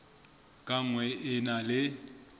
ka nngwe e na le